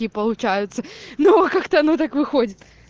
и получается но как-то ну так выходит